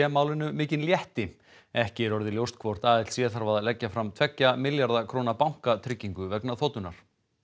málinu mikinn létti ekki er orðið ljóst hvort þarf að leggja fram tveggja milljarða króna bankatryggingu vegna þotunnar